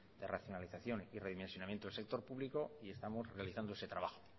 de racionalización y redimensionamiento del sector público y estamos realizando ese trabajo